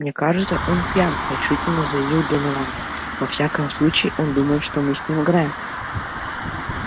мне кажется он пьян решительно заявил донован во всяком случае он думает что мы с ним играем